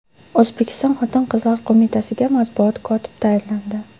O‘zbekiston Xotin-qizlar qo‘mitasiga matbuot kotib tayinlandi.